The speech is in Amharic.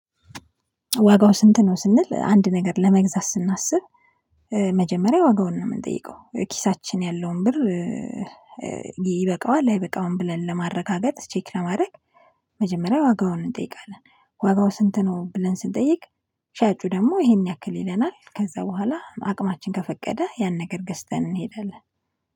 ዋጋው ስንት ነው? ስንል አንድ ነገር ለመግዛት ስናስብ መጀመሪያ ዋጋውን ነው የምንጠይቀው ኪሳችን ያለውን ብር። ይበቃዋል አይበቃውም ብለን ለማረጋገጥ ቼክ ለማድረግ። መጀመሪያ ዋጋውን እንጠይቃለን። ዋጋው ስንት ነው? ብለን ስንጠይቅ ሻጩ ደግሞ ይሄን ያክል ይለናል። ከዛ በኋላ አቅማችን ከፈቀደ ያን ነገር ገዝተን እንሄዳለን